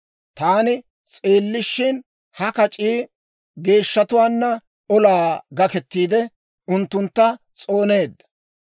Taani s'eellishin, ha kac'ii geeshshatuwaanna olaa gakettiide, unttuntta s'ooneedda.